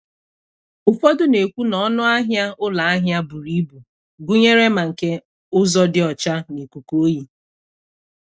Ụfọdụ na-ekwu na ọnụ ahịa ụlọ ahịa buru ibu gụnyere mma nke ụzọ dị ọcha na ikuku oyi.